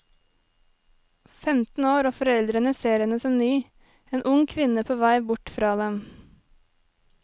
Femten år og foreldrene ser henne som ny, en ung kvinne på vei bort fra dem.